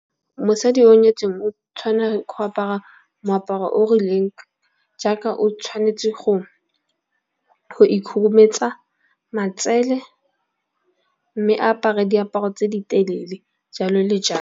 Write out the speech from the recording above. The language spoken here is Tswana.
Mosadi o nyetseng o tshwanela ke go apara moaparo o rileng, jaaka o tshwanetse go ikhurumetsa matsele. Mme a apare diaparo tse di telele jalo le .